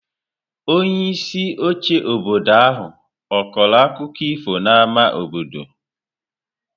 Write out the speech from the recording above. Onyeisi oche obodo ahụ ọ̀ kọrọ akụkọ ifo n’ámá obodo?